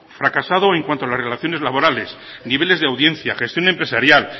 fracaso en cuanto a relaciones laborales niveles de audiencia gestión empresarial